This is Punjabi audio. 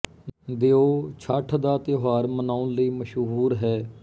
ਦਿਓ ਛੱਠ ਦਾ ਤਿਉਹਾਰ ਮਨਾਉਣ ਲਈ ਮਸ਼ਹੂਰ ਹੈ